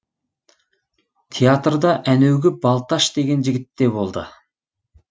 театрда әнеугі балташ деген жігіт те болды